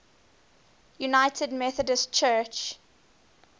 united methodist church